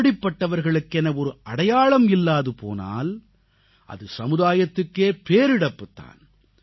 இப்படிப்பட்டவர்களுக்கென ஒரு அடையாளம் இல்லாது போனால் அது சமுதாயத்துக்கே பேரிழப்புத் தான்